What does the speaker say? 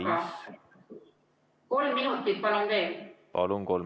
Palun, kolm minutit!